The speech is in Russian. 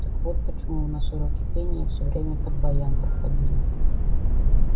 так вот почему у нас уроки пения всё время под баян проходили